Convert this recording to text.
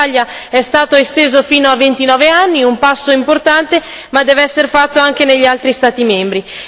In Italia è stato esteso fino a 29 anni, un passo importante ma deve essere fatto anche negli altri Stati membri.